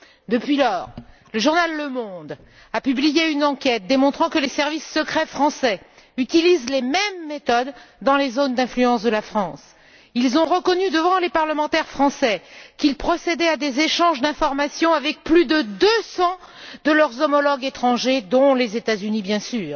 Depuis lors, le journal Le Monde a publié une enquête démontrant que les services secrets français utilisent les mêmes méthodes dans les zones d'influence de la France. Ils ont reconnu, devant les parlementaires français, qu'ils procédaient à des échanges d'informations avec plus de 200 de leurs homologues étrangers, dont les États Unis bien sûr.